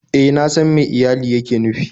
E, na san me iyali yake nufi